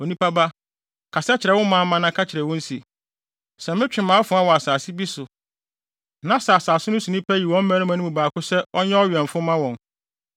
“Onipa ba, kasa kyerɛ wo manmma na ka kyerɛ wɔn se: ‘Sɛ metwe mʼafoa wɔ asase bi so, na sɛ asase no so nnipa yi wɔn mmarima no mu baako sɛ ɔnyɛ ɔwɛmfo mma wɔn,